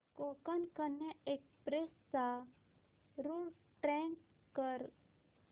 Konkan Kanya express चा route track कर